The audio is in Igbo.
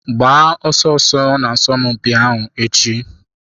Gbaa ọsọ ọsọ n'asọmpi ahụ echi.